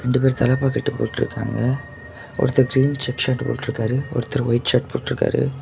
ரெண்டு பேர் தலப்பாக்கட்டு போட்டுருக்காங்க ஒருத்தர் கிரீன் செக்குடு ஷர்ட் போட்டுருக்காரு ஒருத்தர் வைட் ஷர்ட் போட்டுருக்காரு.